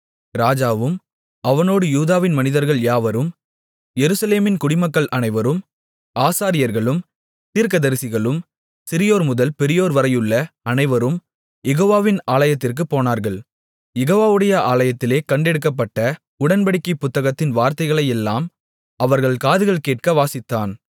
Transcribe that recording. ராஜாவும் அவனோடு யூதாவின் மனிதர்கள் யாவரும் எருசலேமின் குடிமக்கள் அனைவரும் ஆசாரியர்களும் தீர்க்கதரிசிகளும் சிறியோர்முதல் பெரியோர்வரையுள்ள அனைவரும் யெகோவாவின் ஆலயத்திற்குப் போனார்கள் யெகோவாவுடைய ஆலயத்திலே கண்டெடுக்கப்பட்ட உடன்படிக்கை புத்தகத்தின் வார்த்தைகளையெல்லாம் அவர்கள் காதுகள் கேட்க வாசித்தான்